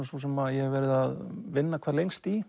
sú sem ég hef verið að vinna hvað